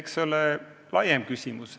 Eks see ole laiem küsimus.